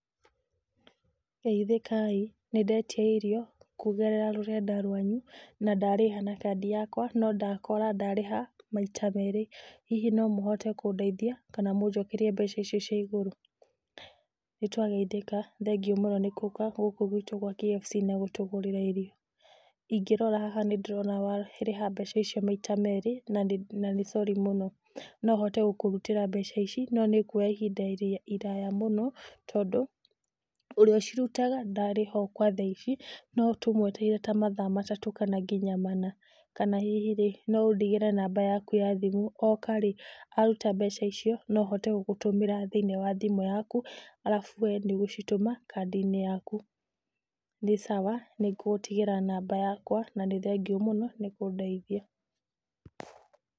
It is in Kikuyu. Geithĩkai, nĩndetia irio kugerera rũrenda rwanyu na ndarĩha na kandi yakwa no ndakora ndarĩha maita merĩ. Hihi no mũhote kũndeithia kana mũnjokerie mbeca icio cia igũrũ? Nĩ twageithĩka, thengiũ mũno nĩ gũka gũkũ gwitũ gwa KFC na gũtũgũrĩra irio. Ingĩrora haha nĩndĩrona warĩha mbeca icio maita merĩ na nĩ sorry mũno. Nohote gũkũrutĩra mbeca ici no nĩngũoya ihinda iraya mũno tondũ ũrĩa ũcirutaga ndarĩho kwa thaici, no tũmũetereire ta mathaa matatũ kana nginya mana, kana hihi rĩ, no ũndigĩre namba yaku ya thimũ, oka rĩ, aruta mbeca icio, no ahote gũgũtũmĩra thĩinĩ wa thimũ yaku arabu we nĩ ũgũcitũma kandi-inĩ yaku. Nĩ sawa nĩngũgũtigĩra namba yakwa na nĩ thengiũ mũno nĩ kũndeithia.